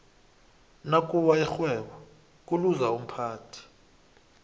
nakuwa ixhwebo kuluza umphathi